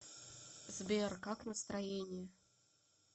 сбер как настроение